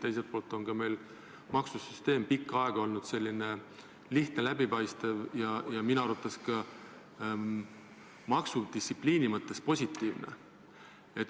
Teiselt poolt on meil maksusüsteem pikka aega olnud lihtne, läbipaistev ja minu arvates ka maksudistsipliini mõttes positiivne.